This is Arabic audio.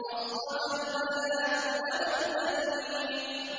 أَصْطَفَى الْبَنَاتِ عَلَى الْبَنِينَ